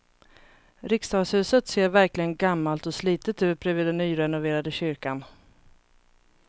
Riksdagshuset ser verkligen gammalt och slitet ut bredvid den nyrenoverade kyrkan.